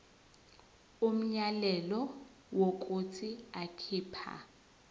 umyalelo wokuthi akhipha